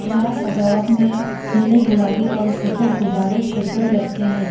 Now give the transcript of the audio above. जहां सजावट में नीले गुलाबी और सफेद गुब्बारे छत पर लटके है।